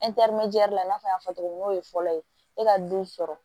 i n'a fɔ y'a fɔ cogo min na n'o ye fɔlɔ ye e ka du sɔrɔ